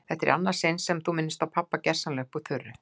Þetta er í annað sinn sem þú minnist á pabba gersamlega upp úr þurru.